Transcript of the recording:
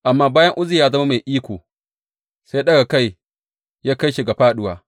Amma bayan Uzziya ya zama mai iko, sai ɗaga kai ya kai shi ga fāɗuwa.